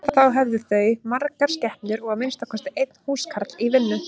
Þá höfðu þau margar skepnur og að minnsta kosti einn húskarl í vinnu.